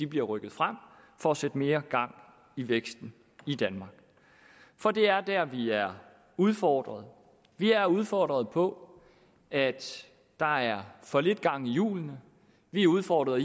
bliver rykket frem for at sætte mere gang i væksten i danmark for det er der vi er udfordret vi er udfordret på at der er for lidt gang i hjulene vi er udfordret